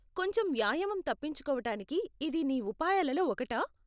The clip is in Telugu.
కొంచెం వ్యాయామం తప్పించుకోవటానికి ఇది నీ ఉపాయాలలో ఒకటా?